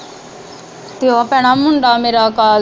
ਤੇ ਉਹ ਭੈਣਾਂ ਮੁੰਡਾ ਮੇਰਾ ਕਲ